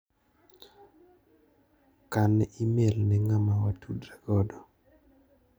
kan imel ne ng'ama watudre godo.